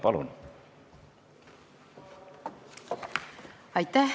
Palun!